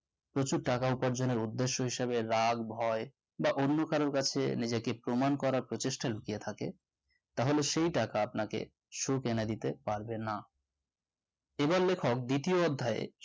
প্রচুর টাকা উপার্জনের উদ্দেশ্য হিসেবে রাগ হয় বা অন্য কারোর কাছে নিজেকে প্রমাণ করার চেষ্টা লুকিয়ে থাকে তাহলে সেই টাকা আপনাকে সুখ এনে দিতে পারবে না এবার লেখক দ্বিতীয় অধ্যায়